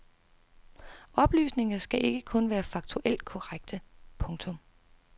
Oplysninger skal ikke kun være faktuelt korrekte. punktum